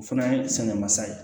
O fana ye sɛgɛn mansa ye